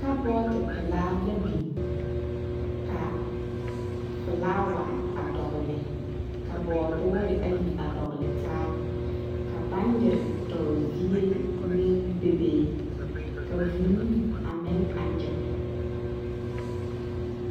Kabɔɔti pelaa la beŋ ka felaawa a dɔgli ka bɔɔduure ayi a dɔglitaa ka baŋgyere dɔɔzie meŋ bebee ka vuu a meŋ a nyige.